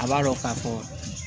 A b'a dɔ k'a fɔ